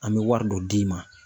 An bɛ wari dɔ d'i ma